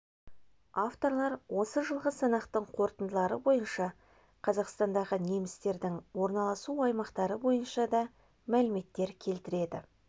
авторлар осы жылғы санақтың қорытындылары бойынша қазақстандағы немістердің орналасу аймақтары бойынша да мәліметтер келтіреді